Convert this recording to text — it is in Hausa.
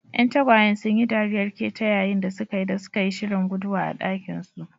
Ƴan tagwayen sun yi dariyar ƙetayayin da suka yi da suka yi shirin guduwa a dakinsu.